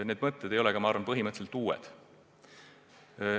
Need mõtted ei ole uued.